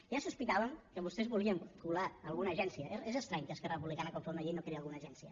ja sospitàvem que vostès volien colar alguna agència és estrany que esquerra republicana quan fa una llei no creï alguna agència